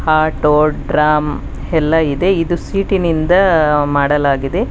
Auto drum ಎಲ್ಲ ಇದೆ ಇದು ಸೀಟಿನಿಂದ ಮಾಡಲಾಗಿದೆ.